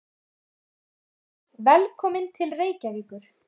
Kæra Þóra. Velkomin til Reykjavíkur.